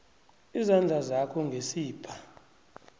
izandla zakho ngesibha